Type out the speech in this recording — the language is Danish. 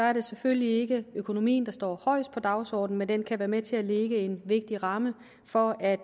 er det selvfølgelig ikke økonomien der står højest på dagsordenen men den kan være med til at lægge en vigtig ramme for at